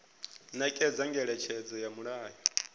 nekedza ngeletshedzo ya mulayo i